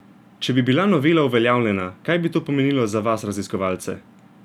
Če bi bila novela uveljavljena, kaj bi to pomenilo za vas raziskovalce?